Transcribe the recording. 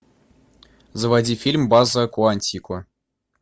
заводи фильм база куантико